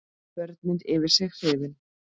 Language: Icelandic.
Börnin yfir sig hrifin.